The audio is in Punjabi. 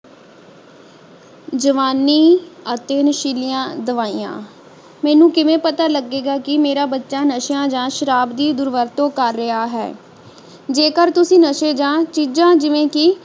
ਜਵਾਨੀ ਅਤੇ ਨਸ਼ੀਲੀਆਂ ਦਵਾਈਆਂ ਮੈਨੂੰ ਕਿਵੇਂ ਪਤਾ ਲਗੇਗਾ ਕਿ ਮੇਰਾ ਬੱਚਾ ਨਸ਼ਿਆਂ ਜਾਂ ਸ਼ਰਾਬ ਦੀ ਦੁਰਵਰਤੋਂ ਕਰ ਰਿਹਾ ਹੈ ਜੇਕਰ ਤੁਸੀਂ ਨਸ਼ੇ ਜਾਂ ਚੀਜਾਂ ਜਿਵੇਂ ਕਿ